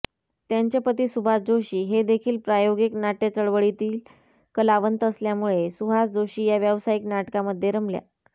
त्यांचे पती सुभाष जोशी हेदेखील प्रायोगिक नाट्यचळवळीतील कलावंत असल्यामुळे सुहास जोशी या व्यावसायिक नाटकामध्ये रमल्या